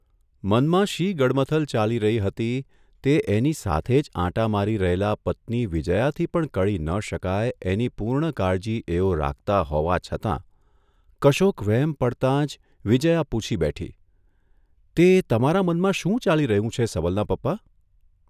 મનમાં શી ગડમથલ ચાલી રહી હતી તે એની સાથે જ આંટા મારી રહેલા પત્ની વિજયાથી પણ કળી ન શકાય એની પૂર્ણ કાળજી એઓ રાખતા હોવા છતાં કશોક વહેમ પડતા જ વિજયા પૂછી બેઠી ' તે તમારા મનમાં શું ચાલી રહ્યું છે, સબલના પપ્પા?